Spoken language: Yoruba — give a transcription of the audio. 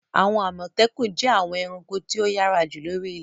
Àwọn Àmọ̀tẹ́kùn jẹ́ àwọn ẹranko tí ó yára jù lóri ilẹ̀.